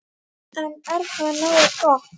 En er það nógu gott?